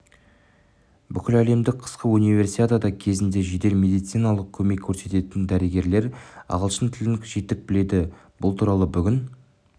бүкіләлемдік қысқы универсиада кезінде жедел медициналық көмек көрсететін дәрігерлер ағылшын тілін жетік біледі бұл туралы бүгін